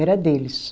Era deles.